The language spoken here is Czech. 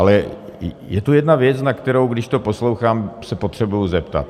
Ale je tu jedna věc, na kterou, když to poslouchám, se potřebuji zeptat.